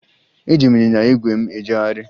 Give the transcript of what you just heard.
Eji m ịnyịnya ígwè m ejegharị